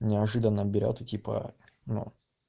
неожиданно берёт и типа ну